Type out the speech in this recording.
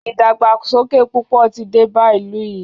ìdàgbàsókè púpọ̀ tí dé bá ìlú yìí.